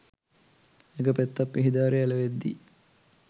එක පෙත්තක් පිහි දාරෙ ඇලවෙද්දි